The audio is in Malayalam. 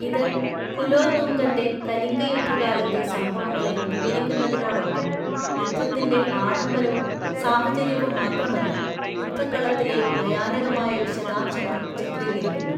ഇത് കുലോത്തുംഗന്‍റെ കലിംഗയുദ്ധകാലത്തെ സംഭവങ്ങളെ വിവരിക്കുന്നതിനോടൊപ്പം യുദ്ധത്തിന്‍റെ ആഡംബരവും സാഹചര്യവും മാത്രമല്ല, യുദ്ധക്കളത്തിലെ ഭയാനകമായ വിശദാംശങ്ങളും ചിത്രീകരിക്കുന്നു.